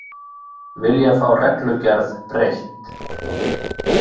Vilja fá reglugerð breytt